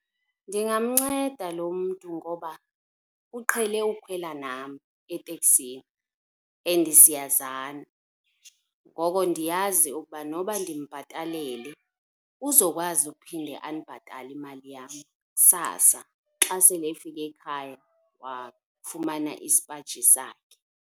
Ndingamnceda lo mntu ngoba uqhele ukukhwela nam etekisini and siyazana. Ngoko ndiyazi ukuba noba ndimbhatalele uzokwazi ukuphinde andibhatale imali yam kusasa xa sele efike ekhaya wafumana isipaji sakhe.